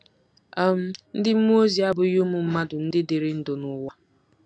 um Ndị mmụọ ozi abụghị ụmụ mmadụ ndị dịrị ndụ n'ụwa.